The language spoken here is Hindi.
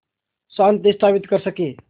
शांति स्थापित कर सकें